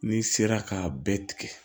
N'i sera k'a bɛɛ tigɛ